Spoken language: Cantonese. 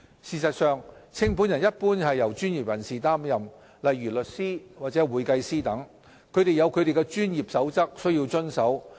事實上，清盤人一般由專業人士擔任，例如律師或會計師等，他們有其專業守則須遵守。